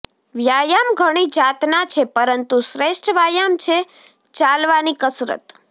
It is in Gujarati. વ્યાયામ ઘણી જાતના છે પરંતુ શ્રેષ્ઠ વ્યાયામ છે ચાલવાની કસરત